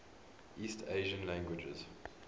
east asian languages